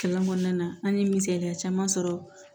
Kalan kɔnɔna na an ye misaliya caman sɔrɔ